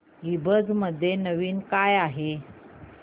ईबझ मध्ये नवीन काय आहे